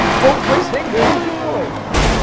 O povo foi chegando depois.